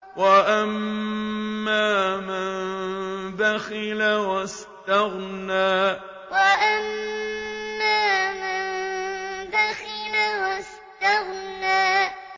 وَأَمَّا مَن بَخِلَ وَاسْتَغْنَىٰ وَأَمَّا مَن بَخِلَ وَاسْتَغْنَىٰ